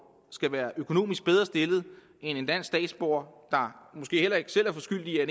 skal være økonomisk bedre stillet end en dansk statsborger der måske heller ikke selv er skyld i at